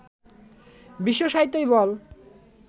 বিশ্বসাহিত্যই বল